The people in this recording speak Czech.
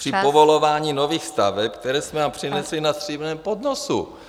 ... při povolování nových staveb, které jsme vám přinesli na stříbrném podnosu.